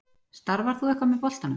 Starfar þú eitthvað með boltanum?